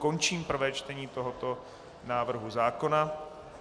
Končím prvé čtení tohoto návrhu zákona.